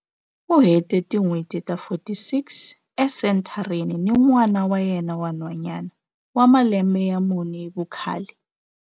U hete tin'hweti ta 46 esenthareni ni n'wana wa yena wa nhwanyana wa malembe ya mune hi vukhale.